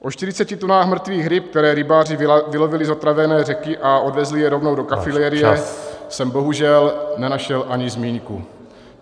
O 40 tunách mrtvých ryb, které rybáři vylovili z otrávené řeky a odvezli je rovnou do kafilérie , jsem bohužel nenašel ani zmínku.